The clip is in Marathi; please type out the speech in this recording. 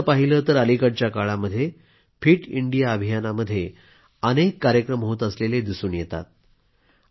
तसं पाहिलं तर अलिकडच्या काळामध्ये फिट इंडिया अभियानामध्ये अनेक कार्यक्रम होत असलेले दिसून येतात